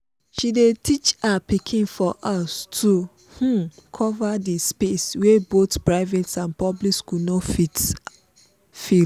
she dey teach her pikin for house to um cover the space wey both private and public school no fit fill